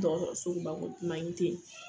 Dɔgɔtɔrɔsɔko mago mange te yen